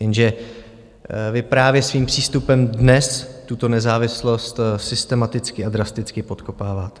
Jenže vy právě svým přístupem dnes tuto nezávislost systematicky a drasticky podkopáváte.